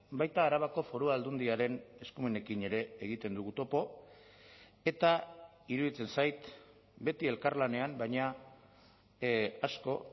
baita arabako foru aldundiaren eskumenekin ere egiten dugu topo eta iruditzen zait beti elkarlanean baina asko